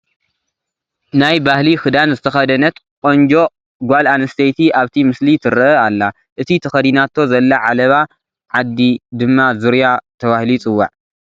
ናይ ባህሊ ክዳን ዝተኸደነት ቆንጆ ጓል ኣነስተይቲ ኣብቲ ምስሊ ትርአ ኣላ፡፡ እቲ ተኸዲናቶ ዘላ ዓለባ ዓዲ ድማ ዙርያ ተባሂሉ ይፅዋዕ፡፡